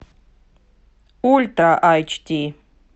ультра айч ди